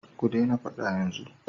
Ku daina faɗa yanzu!